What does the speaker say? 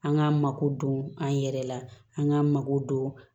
An k'an mako don an yɛrɛ la an k'an mako don